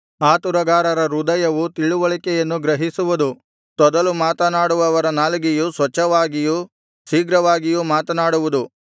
ಆತುರಗಾರರ ಹೃದಯವು ತಿಳಿವಳಿಕೆಯನ್ನು ಗ್ರಹಿಸುವುದು ತೊದಲು ಮಾತನಾಡುವವರ ನಾಲಿಗೆಯು ಸ್ವಚ್ಛವಾಗಿಯೂ ಶೀಘ್ರವಾಗಿಯೂ ಮಾತನಾಡುವುದು